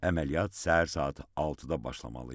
Əməliyyat səhər saat 6-da başlamalı idi.